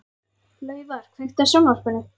Laufar, kveiktu á sjónvarpinu.